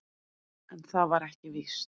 En það var ekki víst.